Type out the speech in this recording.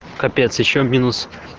капец ещё минус